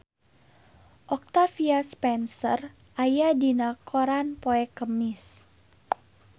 Octavia Spencer aya dina koran poe Kemis